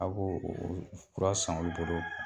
A ko o fura san olu bolo